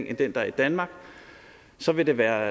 end den der er i danmark så vil det være